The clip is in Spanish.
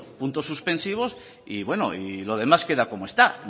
puntos suspensivos y bueno y lo demás queda como está